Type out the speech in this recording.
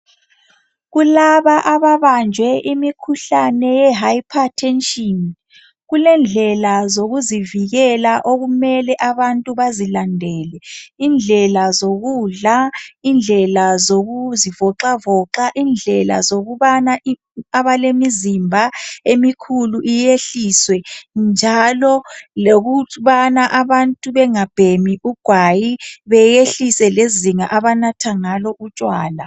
Kulaba ababanjwe imikhuhlane ye hypertension kulendelela zokuzivikela okumele abantu bazilandele , indlela zokudla , indlela zokuzivoxavoxa , indlela zokubana abalemizimba emikhulu iyehliswe njalo lokubana abantu bengabhemi ugwayi beyehlise lezinga abanatha ngalo utshwala.